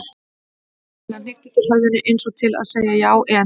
Pamela hnykkti til höfðinu eins og til að segja já, en.